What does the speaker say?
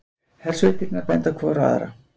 Hersveitirnar benda hvor á aðra